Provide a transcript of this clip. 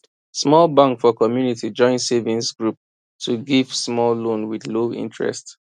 small bank for community join savings group to give small loan with low interest